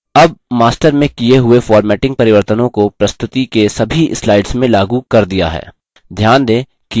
अब master में the हुए formatting परिवर्तनों को प्रस्तुति के सभी slides में लागू कर दिया है